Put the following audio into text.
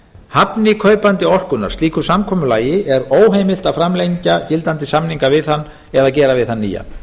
hafni kaupandi orkunnar slíku samkomulagi er óheimilt að framlengja gildandi samninga við hann eða gera við hann nýja